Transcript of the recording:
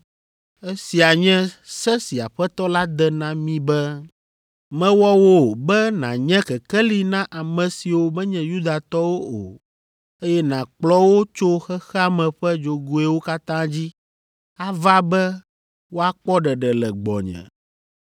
Esia nye se si Aƒetɔ la de na mí be, “ ‘Mewɔ wò be nànye kekeli na ame siwo menye Yudatɔwo o, eye nàkplɔ wo tso xexea me ƒe dzogoewo katã dzi ava be woakpɔ ɖeɖe le gbɔnye.’ ”